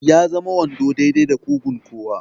Ya zama wando daidai da ƙugun kowa.